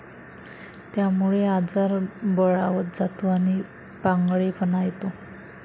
त्यामुळे आजार बळावत जातो आणि पांगळेपणा येतो.